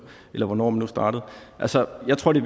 eller hvornår man nu startede altså jeg tror det